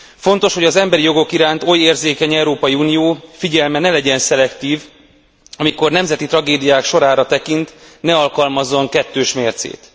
Fontos, hogy az emberi jogok iránt oly érzékeny Európai Unió figyelme ne legyen szelektív, és amikor nemzeti tragédiák sorára tekint, ne alkalmazzon kettős mércét.